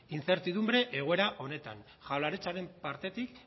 incertidumbre egoera honetan jaurlaritzaren partetik